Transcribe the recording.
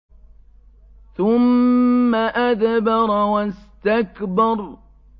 ثُمَّ أَدْبَرَ وَاسْتَكْبَرَ